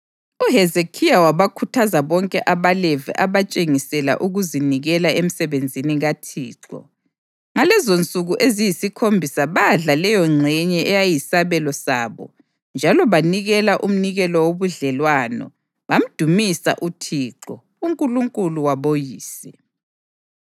UHezekhiya wabakhuthaza bonke abaLevi abatshengisela ukuzinikela emsebenzini kaThixo. Ngalezonsuku eziyisikhombisa badla leyongxenye eyayiyisabelo sabo njalo banikela umnikelo wobudlelwano bamdumisa uThixo, uNkulunkulu waboyise.